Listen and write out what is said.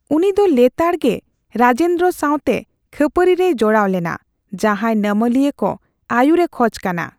ᱩᱱᱤ ᱫᱚ ᱞᱮᱛᱟᱲᱜᱮ ᱨᱟᱡᱮᱱᱫᱨᱚ ᱥᱟᱣᱛᱮ ᱠᱷᱟᱹᱯᱟᱹᱨᱤ ᱨᱮᱭ ᱡᱚᱲᱟᱣ ᱞᱮᱱᱟ, ᱡᱟᱦᱟᱸᱭ ᱱᱟᱢᱟᱞᱤᱭᱟᱹ ᱠᱚ ᱟᱹᱭᱩᱨᱮ ᱠᱷᱚᱡᱽ ᱠᱟᱱᱟ ᱾